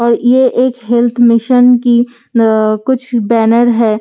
और ये एक हेल्‍थ मिशन की आ कुछ बेनर है और इसमें --